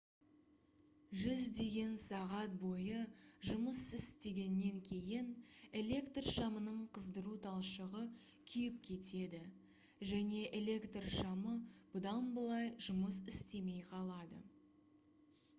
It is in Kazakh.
жүздеген сағат бойы жұмыс істегеннен кейін электр шамының қыздыру талшығы күйіп кетеді және электр шамы бұдан былай жұмыс істемей қалады